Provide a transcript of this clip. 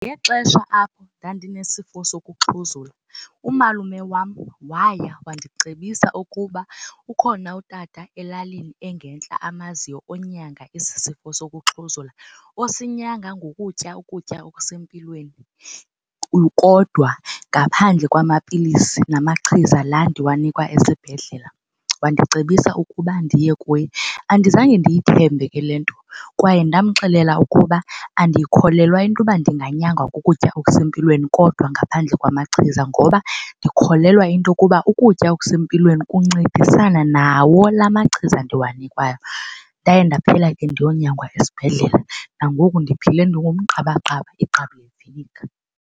Ngexesha apho ndandinesifo sokuxhuzula umalume wam waya wandicebisa ukuba ukhona utata elalini engentla amaziyo onyanga esi sifo sokuxhuzula, osinyanga ngokutya ukutya okusempilweni kodwa ngaphandle kwamapilisi namachiza laa ndiwanikwa esibhedlela. Wandicebisa ukuba ndiye kuye. Andizange ndiyithembe ke le nto kwaye ndamxelela ukuba andiyikholelwa into yoba ndinganyangwa kukutya okusempilweni kodwa ngaphandle kwamachiza ngoba ndikholelwa into yokuba ukutya okusempilweni kuncedisana nawo la machiza ndiwanikwayo. Ndaye ndaphela ke ndiyonyangwa esibhedlela nangoku ndiphile ndingumqabaqaba igqabi leviniga.